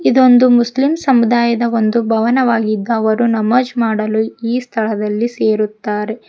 ಇದೊಂದು ಮುಸ್ಲಿಂ ಸಮುದಾಯದ ಒಂದು ಭವನವಾಗಿದ್ದು ಅವರು ನಮಾಜ್ ಮಾಡಲು ಈ ಸ್ಥಳದಲ್ಲಿ ಸೇರುತ್ತಾರೆ.